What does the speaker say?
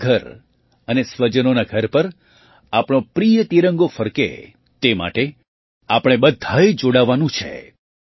પોતાના ઘર અને સ્વજનોનાં ઘર પર આપણો પ્રિય તિરંગો ફરકે તે માટે આપણે બધાંએ જોડાવાનું છે